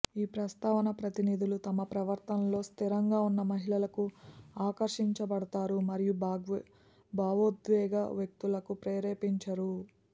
ఈ ప్రస్తావన ప్రతినిధులు తమ ప్రవర్తనలో స్థిరంగా ఉన్న మహిళలకు ఆకర్షించబడతారు మరియు భావోద్వేగ వ్యక్తులకు ప్రేరేపించరు